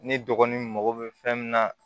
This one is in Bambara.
Ni dɔgɔnin mago bɛ fɛn min na